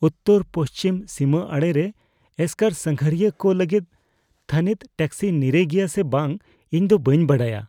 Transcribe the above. ᱩᱛᱛᱚᱨᱼᱯᱚᱪᱷᱤᱢ ᱥᱤᱢᱟ ᱟᱲᱮᱨᱮ ᱮᱥᱠᱟᱨ ᱥᱟᱸᱜᱷᱟᱨᱤᱭᱟᱹ ᱠᱚ ᱞᱟᱹᱜᱤᱫ ᱛᱷᱟᱹᱱᱤᱛ ᱴᱮᱠᱥᱤ ᱱᱤᱨᱟᱹᱭ ᱜᱮᱭᱟ ᱥᱮ ᱵᱟᱝ ᱤᱧ ᱫᱚ ᱵᱟᱹᱧ ᱵᱟᱰᱟᱭᱟ ᱾